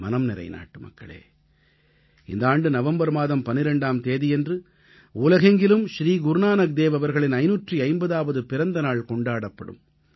என் மனம்நிறை நாட்டுமக்களே இந்த ஆண்டு நவம்பர் மாதம் 12ஆம் தேதியன்று உலகெங்கிலும் ஸ்ரீ குருநானக்தேவ் அவர்களின் 550ஆவது பிறந்த நாள் கொண்டாடப்படும்